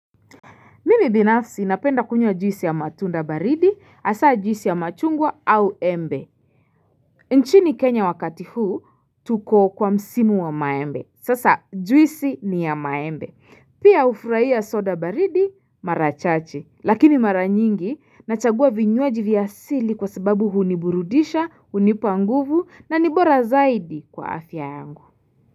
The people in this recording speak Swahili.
Mimi binafsi napenda kunywa juisi ya matunda baridi, asa juisi ya machungwa au embe. Nchini Kenya wakati huu, tuko kwa msimu wa maembe. Sasa juisi ni ya maembe. Pia hufraia soda baridi, mara chache. Lakini mara nyingi, nachagua vinywaji vya asili kwa sababu huniburudisha, hunipa nguvu na ni bora zaidi kwa afya yangu.